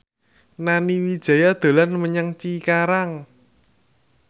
Nani Wijaya dolan menyang Cikarang